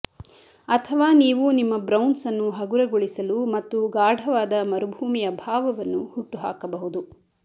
ಅಥವಾ ನೀವು ನಿಮ್ಮ ಬ್ರೌನ್ಸ್ ಅನ್ನು ಹಗುರಗೊಳಿಸಲು ಮತ್ತು ಗಾಢವಾದ ಮರುಭೂಮಿಯ ಭಾವವನ್ನು ಹುಟ್ಟುಹಾಕಬಹುದು